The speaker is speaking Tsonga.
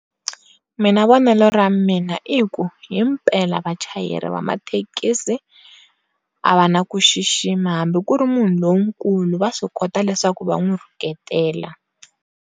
Mina vonelo ra mina i hi ku hi mpela vachayeri va mathekisi a va na ku xixima hambi ku ri munhu lo nkulu va swi kota leswaku va n'wi rhuketela.